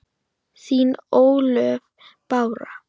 Þín Ólöf Bára.